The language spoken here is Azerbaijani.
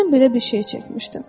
Mən belə bir şey çəkmişdim.